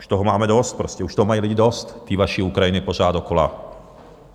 Už toho máme dost prostě, už toho mají lidi dost, tý vaší Ukrajiny pořád dokola.